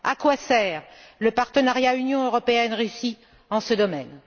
À quoi sert le partenariat Union européenne Russie dans ce domaine?